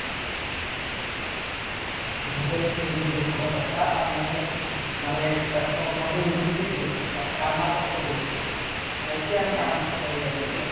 ନିହାତି ଭାବେ ଶୁଣିଲି ଯୋଉ ଦୁଃଖର କଥା ମାନେ ମାନେ ତାକୁ କ'ଣ କୁହାଯାଏ lascivious ମାନେ କାମାସକ୍ତ ପୁରୁଷ ମାନେ ଏତେ ଆମେ କାମାସକ୍ତ ହେଇଯାଉଛୁ ଯେ